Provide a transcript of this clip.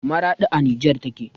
Maraɗi a nijer take